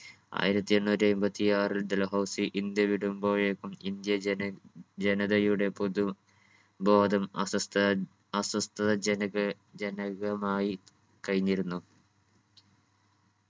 ആയിരത്തി എണ്ണൂറ്റി അയ്മ്പത്തി ആറിൽ ഡൽഹൗസി ഇന്ത്യ വിടുമ്പോഴേക്കും ഇന്ത്യ ജന ജനതയുടെ പുതു ബോധം അസ്വസ്ഥ അസ്വസ്ഥത ജനക് ജനകമായി കഴിഞ്ഞിരുന്നു.